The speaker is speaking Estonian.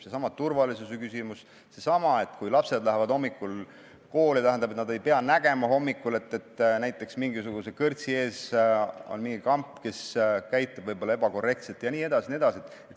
Seesama turvalisuse küsimus, seesama, et kui lapsed lähevad hommikul kooli, siis nad ei pea nägema, et näiteks mingisuguse kõrtsi ees on mingi kamp, kes käitub võib-olla ebakorrektselt jne.